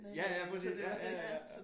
Ja ja præcis ja ja